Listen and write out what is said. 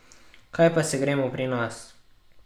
Kaj pa se gremo pri nas?